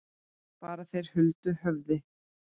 Fara þeir huldu höfði?